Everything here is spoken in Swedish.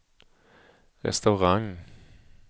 restaurang